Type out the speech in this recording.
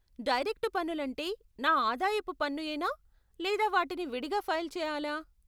Direct పన్నులంటే నా ఆదాయపు పన్ను యేనా లేదా వాటిని విడిగా ఫైల్ చెయాలా?